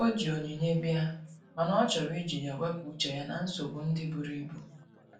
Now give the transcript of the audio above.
O ji onyinye bia, mana ọ chọrọ iji ya wepụ uche ya na nsogbo ndi buru ibụ.